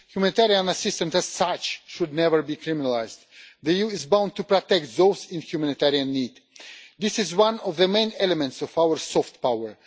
Humanitarian assistance as such should never be criminalised. The EU is bound to protect those in humanitarian need. This is one of the main elements of our soft power.